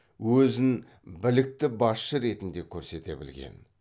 өзін білікті басшы ретінде көрсете білген